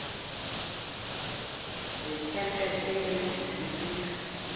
netemplethe yendlela yokubika